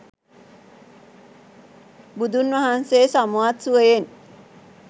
බුදුන් වහන්සේ සමවත් සුවයෙන්